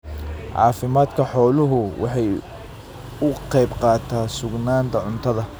Caafimaadka xooluhu waxa uu ka qayb qaataa sugnaanta cuntada.